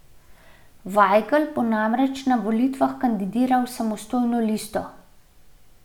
Vajgl bo namreč na volitvah kandidiral s samostojno listo.